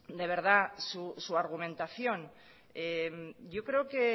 de verdad su argumentación yo creo que